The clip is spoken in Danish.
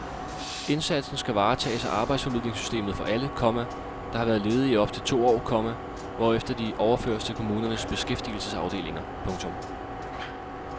Indsatsen skal varetages af arbejdsformidlingssystemet for alle, komma der har været ledige i op til to år, komma hvorefter de overføres til kommunernes beskæftigelsesafdelinger. punktum